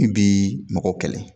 I bii mɔgɔw kɛlɛ